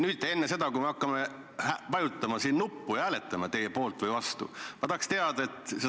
Enne seda, kui me hakkame nüüd siin vajutama nuppu ja hääletama teie poolt või vastu, ma tahaks teada sellist asja.